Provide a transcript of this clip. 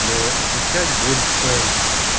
но отвечать больше